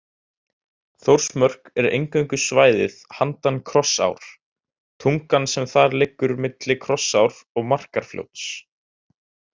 Þórsmörk er eingöngu svæðið handan Krossár, tungan sem þar liggur milli Krossár og Markarfljóts.